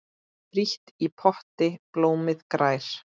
Frítt í potti blómið grær.